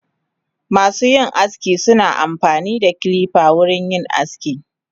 Masuyin aski suna amfanida kilifa wurin yin aski.